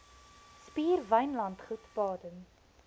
spier wynlandgoed baden